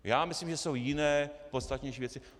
Já myslím, že jsou jiné, podstatnější věci.